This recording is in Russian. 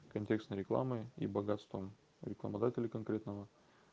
контекстной рекламой и богатством рекламодателей конкретного